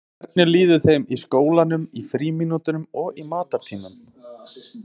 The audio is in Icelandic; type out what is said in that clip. Hvernig líður þeim í skólanum, í frímínútum og á matartímum?